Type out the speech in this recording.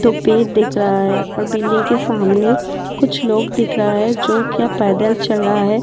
दो पेड़ दिख रहा है और बिल्डिंग के सामने कुछ लोग दिख रहा है जो क्या पैदल चल रहा है।